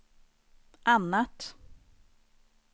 annat